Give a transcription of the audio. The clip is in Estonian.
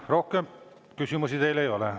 Rohkem küsimusi teile ei ole.